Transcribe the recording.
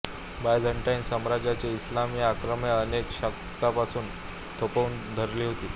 Byzantine साम्राज्याने इस्लामी आक्रमणे अनेक शतकांपर्यंत थोपवून धरली होती